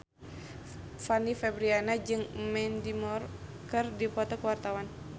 Fanny Fabriana jeung Mandy Moore keur dipoto ku wartawan